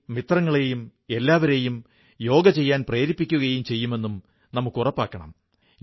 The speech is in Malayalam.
കഴിഞ്ഞ ശതാബ്ദത്തിൽ നമ്മുടെ രാജ്യത്ത് ഭരണഘടനയിലൂടെ നമ്മെ എല്ലാവരെയും ഒരുമിപ്പിച്ച ഡോ